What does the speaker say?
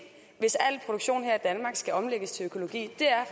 hvis al produktion her i danmark skal omlægges til økologi er